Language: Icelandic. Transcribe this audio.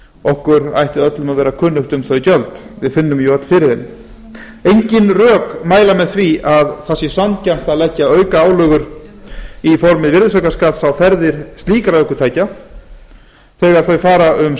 okkur ætti öllum að vera kunnugt um þau gjöld við finnum öll fyrir þeim engin rök mæla með því að það sé sanngjarnt að leggja aukaálögur formi virðisaukaskatts á ferðir slíkra ökutækja þegar þau fara um